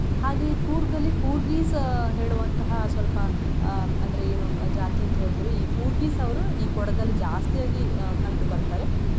ಹಾಗೆ ಈ ಕೂರ್ಗಲ್ಲಿ ಕೂರ್ಗಿಸ್ ಹೇಳುವಂತಹ ಸ್ವಲ್ಪ ಅಹ್ ಅಂದ್ರೆ ಏನು ಜಾತಿ ಅಂತಾ ಹೇಳ್ತಿವಿ ಈ ಕೂರ್ಗಿಸ್ ಅವ್ರು ಈ ಕೊಡಗಲ್ಲಿ ಜಾಸ್ತಿಯಾಗಿ ಅಹ್ ಕಂಡು ಬರ್ತಾರೆ.